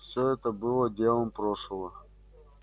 все это было делом прошлого